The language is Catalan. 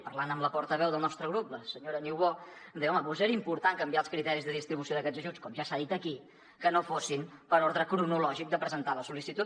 parlant amb la portaveu del nostre grup la senyora niubó em deia home doncs era important canviar els criteris de distribució d’aquests ajuts com ja s’ha dit aquí que no fossin per ordre cronològic de presentar la sol·licitud